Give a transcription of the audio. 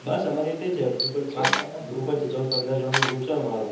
બસ આમાર એ રીતે જ છે group છે ચૌદ પંદર જાના નું group છે આમારું